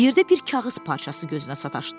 Yerdə bir kağız parçası gözünə sataşdı.